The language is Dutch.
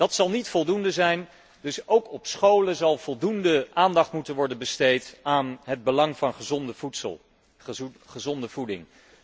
Dat zal niet voldoende zijn, dus ook op scholen zal voldoende aandacht moeten worden besteed aan het belang van gezonde voeding.